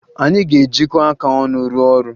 Anyị ga-ejikọ aka ọnụ rụọ ọrụ